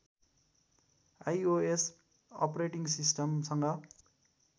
iOS operating सिस्टमसँग